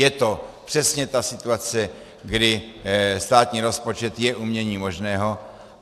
Je to přesně ta situace, kdy státní rozpočet je uměním možného.